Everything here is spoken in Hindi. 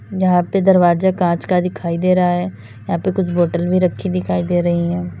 यहाँ पे दरवाज़ा कांच का दिखाई दे रहा है यहाँ पे कुछ बोतल भी रखी दिखाई दे रही हैं।